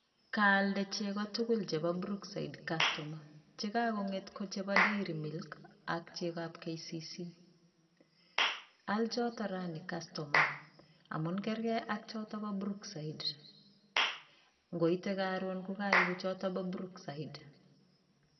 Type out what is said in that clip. Kaalde cheko tugul chebo brookside kastoma, chekakonget ko chebo [dairy milk] ak chegab kcc, aal choto raini kastoma amun karkei ak chebo brookside ngoite karoon kokaipu choto bo brookside.